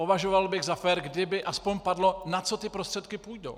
Považoval bych za fér, kdyby aspoň padlo, na co ty prostředky půjdou.